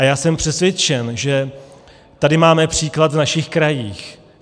A já jsem přesvědčen, že tady máme příklad v našich krajích.